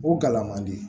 O gala man di